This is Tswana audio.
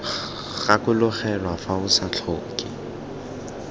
gakologelwa fa o sa tlhoke